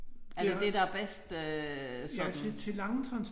Er det det der er bedst sådan